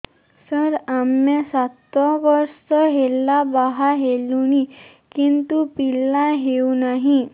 ସାର ଆମେ ସାତ ବର୍ଷ ହେଲା ବାହା ହେଲୁଣି କିନ୍ତୁ ପିଲା ହେଉନାହିଁ